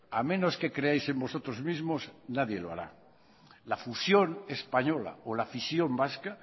a menos que creáis en vosotros mismos nadie lo hará la fusión española o la fisión vasca